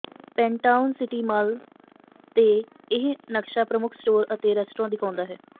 ਪੈਨਟਾਊਨ city mall ਤੇ ਇਹ ਨਕਸ਼ਾ ਪ੍ਰਮੁੱਖ ਸਟੋਰ ਅਤੇ ਰੈਸਟੋਰੈਂਟ ਦਿਖਾਉਂਦਾ ਹੈ